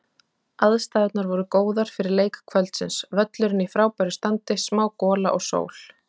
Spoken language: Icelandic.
Aðstæðurnar voru góðar fyrir leik kvöldsins, völlurinn í frábæra standi, smá gola og sól.